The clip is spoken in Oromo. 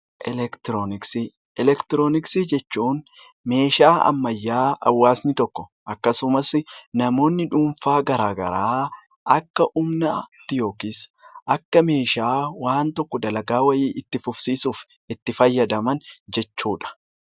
Elektirooniksii Elektirooniksii jechuun meeshaa ammayyaa hawaasni tokko akkasumas namoonni dhuunfaa gara garaa, akka humnaatti yookiis akka meeshaa waan tokko dalagaa wayii itti fufsiisuuf itti fayyadaman jechuu dha.